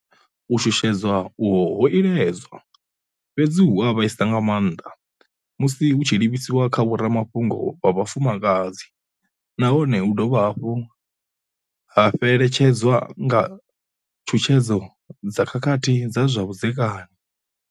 U shushedzwa uho ho iledzwa, fhedzi hu a vhaisa nga maanḓa musi hu tshi livhiswa kha vhoramafhungo vha vhafumakadzi nahone hu dovha hafhu ha fhele tshedzwa nga tshutshedzo dza khakhathi dza zwa vhudzekani.